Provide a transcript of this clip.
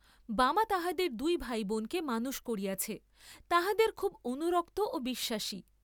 বামা তাহাদের দুই ভাই বোনকে মানুষ করিয়াছে, তাহাদের খুব অনুরক্ত ও বিশ্বাসী।